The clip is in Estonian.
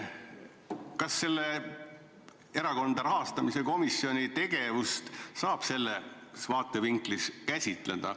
Kas Erakondade Rahastamise Järelevalve Komisjoni tegevust saab sellest vaatevinklist käsitleda?